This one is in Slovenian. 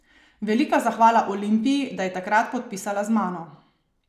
Velika zahvala Olimpiji, da je takrat podpisala z mano.